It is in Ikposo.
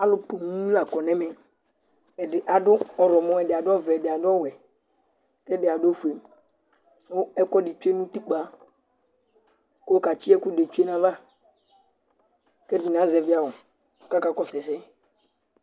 Alu puŋ la kɔ nu ɛmɛ, ɛdi adu ɔwlumɔ, ɛdi adu ɔvɛ, ɛdi adu ɔwɛ ku ɛdi adu ofue ku ɛkuɛdi tsʋe nu utikpa, ku ɔkatsi ɛkʋɛdi tsʋe nu ayava ,ku ɛdini azɛvi awu, ku akakɔsu ɛsɛ